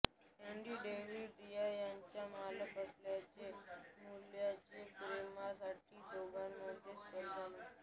Andy Davis या त्यांच्या मालक असलेल्या मुलाच्या प्रेमासाठी दोघांमध्ये स्पर्धा असते